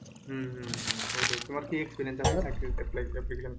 হম হম হম ঐটাই, তোমার কি experience আছে চাকরিতে apply application,